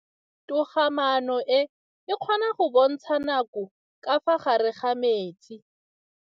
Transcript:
Toga-maanô e, e kgona go bontsha nakô ka fa gare ga metsi.